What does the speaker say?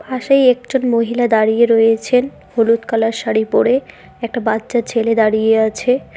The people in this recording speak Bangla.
পাশেই একজন মহিলা দাঁড়িয়ে রয়েছেন হলুদ কালার শাড়ি পড়ে একটা বাচ্চা ছেলে দাঁড়িয়ে আছে।